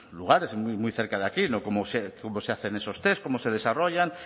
lugares muy cerca de aquí cómo se hacen esos test cómo se desarrollan